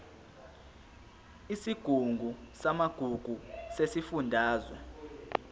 isigungu samagugu sesifundazwe